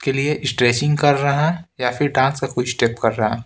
के लिए स्ट्रेचिंग कर रहा है या फिर डांस का कोई स्टेप कर रहा है।